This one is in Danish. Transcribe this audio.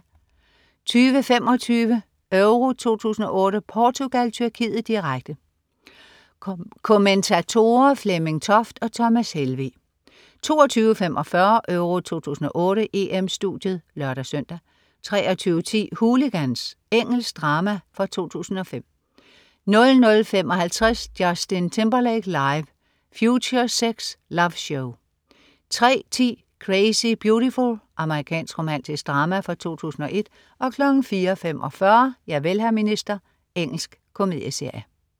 20.25 EURO 2008: Portugal-Tyrkiet, direkte. Kommentatorer: Flemming Toft og Thomas Helveg 22.45 EURO 2008: EM-Studiet (lør-søn) 23.10 Hooligans. Engelsk drama fra 2005 00.55 Justin Timberlake. Live. FutureSex/LoveShow 03.10 Crazy Beautiful. Amerikansk romantisk drama fra 2001 04.45 Javel, hr. minister. Engelsk komedieserie